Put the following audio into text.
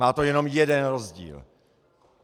Má to jenom jeden rozdíl.